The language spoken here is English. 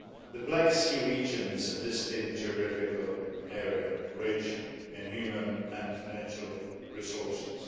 The Black Sea region is a distinct geographical area rich in human and natural resources.